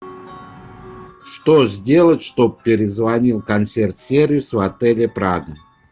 что сделать чтобы перезвонил консьерж сервис в отеле прадо